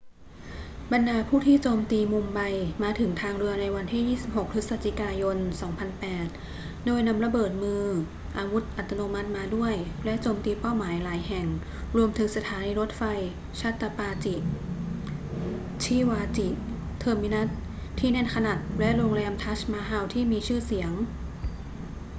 บรรดาผู้ที่โจมตีมุมไบมาถึงทางเรือในวันที่ 26 พฤศจิกายน 2008 โดยนำระเบิดมือ อาวุธอัตโนมัติมาด้วย และโจมตีเป้าหมายหลายแห่ง รวมถึงสถานีรถไฟ chhatrapati shivaji terminus ที่แน่นขนัดและโรงแรม taj mahal ที่ทีชื่เสียง